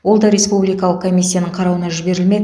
ол да республикалық комиясының қарауына жіберілмек